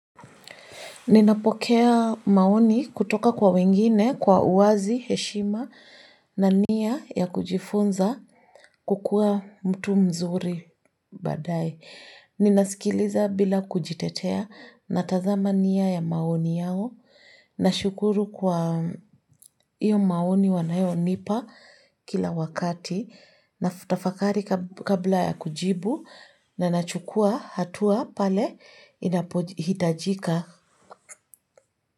Ninapokea maoni kutoka kwa wengine, kwa uwazi, heshima, na nia ya kujifunza kukua mtu mzuri baadaye. Ninasikiliza bila kujitetea na tazama nia ya maoni yao. Na shukuru kwa iyo maoni wanayo nipa kila wakati. Na tafakari kabla ya kujibu na nachukua hatua pale inapohitajika.